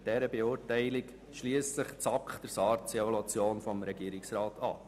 Mit dieser Beurteilung schliesst sich die SAK der SARZ-Evaluation des Regierungsrats an.